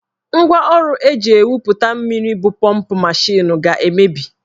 Ngwaọrụ eji ewupụta mmiri bụ pọmp mashin ga-emebi.